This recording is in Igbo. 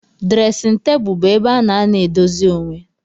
Dresin table bu ebe ana anọ edozi onwee.